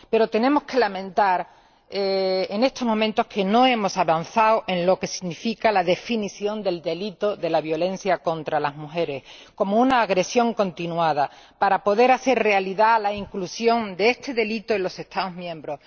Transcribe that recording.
Pero tenemos que lamentar, en estos momentos, que no hemos avanzado en lo que significa la definición del delito de la violencia contra las mujeres como una agresión continuada para poder hacer realidad la inclusión de este delito en los Estados miembros.